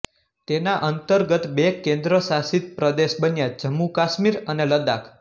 તેના અંતર્ગત બે કેન્દ્રશાસિત પ્રદેશ બન્યા જમ્મુકાશ્મીર અને લદ્દાખ